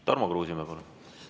Tarmo Kruusimäe, palun!